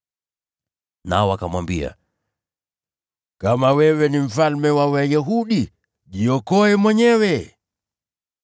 na wakamwambia, “Kama wewe ni Mfalme wa Wayahudi, jiokoe mwenyewe.”